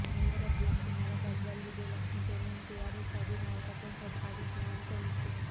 mayor అభ్యర్థినిగా గద్వాల్ విజయలక్ష్మి పేరును TRS అధినాయకత్వం ప్రతిపాదించినట్లు తెలుస్తోంది